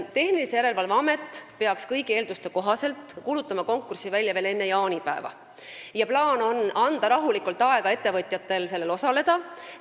Tehnilise Järelevalve Amet peaks kõigi eelduste kohaselt kuulutama konkursi välja veel enne jaanipäeva ja plaanis on anda ettevõtjatele rahulikult aega sellel osalemiseks.